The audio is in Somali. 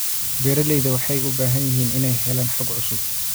Beeralayda waxay u baahan yihiin inay helaan xog cusub.